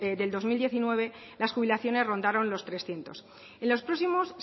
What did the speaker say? del dos mil diecinueve las jubilaciones rondaron los trescientos en los próximos